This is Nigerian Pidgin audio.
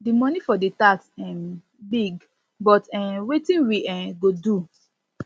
the money for the tax um big but um wetin we um go do